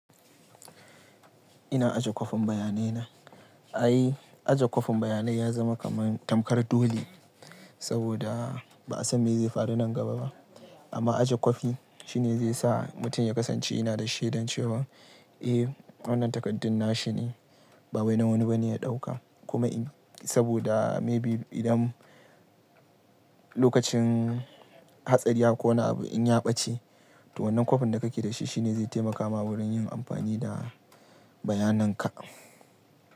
Ina aje kwafin bayanai na. Ai aje kwafin bayanai ya zama kamar tamkar dole, saboda ba'a san me zai faru nan gaba ba. Amma aje kwafi shine zai sa mutum ya kasance yana da shedan cewa eh wannan takardun na shine, ba wai na wani ba ne ya ɗauka. Kuma in saboda maybe idan Lokacin hatsari haka ko wani abu in ya ɓace, to wannan kwafin da kake da shi shine zai taimaka ma wurin yin amfani da bayanan ka.